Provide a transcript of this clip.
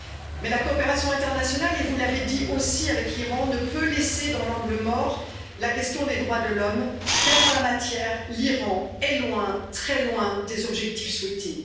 Mais la coopération internationale avec l'Iran et vous l'avez dit aussi ne peut laisser dans l'angle mort la question des droits de l'homme, car en la matière, l'Iran est loin, très loin des objectifs souhaités.